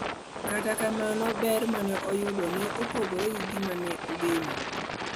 Kata kamano, ber ma ne oyudo ne opogore gi ma ne ogeno.